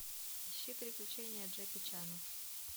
ищи приключения джеки чана